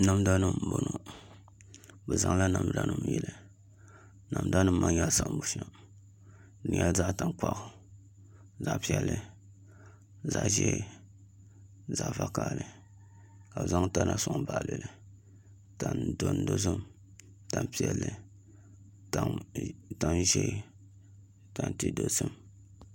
Namda nim n bɔŋɔ bi zaŋla namda nim n yili namda nim maa nyɛla siɣim bushɛm n nyɛla zaɣ tankpaɣu zaɣ piɛlli zaɣ ʒiɛ zaɣ vakaɣali ka bi zaŋ tana soŋ baɣali li tani dozim tani piɛlli tani ʒiɛ tanti dozim